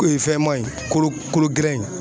fɛnma in kolo kolo gɛlɛn in.